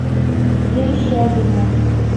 верещагино